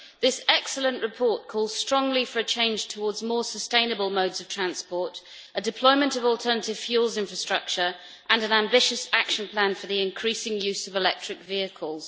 This excellent report calls strongly for a change towards more sustainable modes of transport, a deployment of alternative fuels infrastructure and an ambitious action plan for the increasing use of electric vehicles.